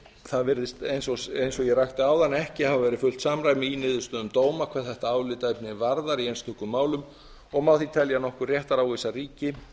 það virðist eins og ég rakti áðan ekki hafa verið fullt samræmi í niðurstöðum dóma hvað þetta álitaefni varðar í einstökum málum og má því telja að nokkur réttaróvissa ríki